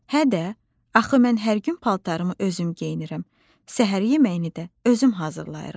Hə də, axı mən hər gün paltarımı özüm geyinirəm, səhər yeməyini də özüm hazırlayıram.